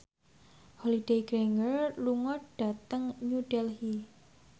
Holliday Grainger lunga dhateng New Delhi